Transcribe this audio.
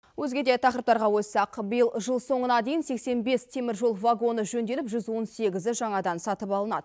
өзге де тақырыптарға ойыссақ биыл жыл соңына дейін сексен бес теміржол вагоны жөнделіп жүз он сегізі жаңадан сатып алынады